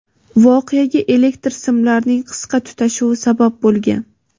Voqeaga elektr simlarining qisqa tutashuvi sabab bo‘lgan.